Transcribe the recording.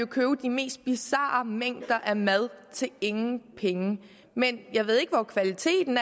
købe de mest bizarre mængder mad til ingen penge men jeg ved ikke hvor kvaliteten